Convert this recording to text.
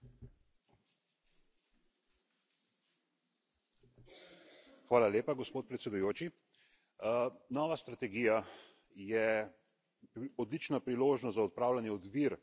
Gospod predsednik, nova strategija je odlična priložnost za odpravljanje ovir za invalidne osebe in zato, da se zagotovi njihova boljša socialna vključenost.